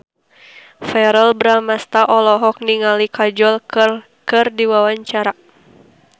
Verrell Bramastra olohok ningali Kajol keur diwawancara